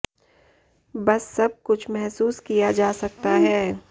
बस सब कुछ महसूस किया जा सकता है